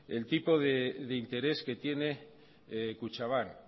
el tipo de interés que tiene kutxabank